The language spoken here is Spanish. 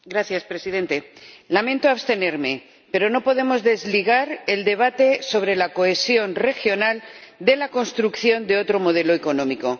Señor Presidente, lamento abstenerme, pero no podemos desligar el debate sobre la cohesión regional de la construcción de otro modelo económico.